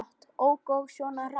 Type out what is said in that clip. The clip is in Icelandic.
Ók ég svona hratt?